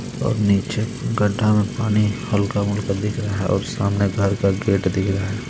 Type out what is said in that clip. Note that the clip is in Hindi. और नीचे गड्ढा में पानी हल्का बुड़का दिख रहा है और सामने घर का गेट दिख रहा है.